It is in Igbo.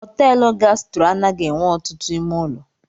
Họtelụ Gastro anaghị enwe ọtụtụ ime ụlọ.